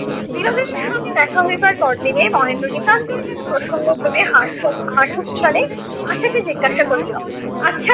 বিনোদিনীর সঙ্গে দেখা হইবার পরদিনে মহেন্দ্র নিতান্তই যেনো প্রসঙ্গক্রমে হাস্য~ হাসচ্ছলে আশাকে জিজ্ঞাসা করিলো, আচ্ছা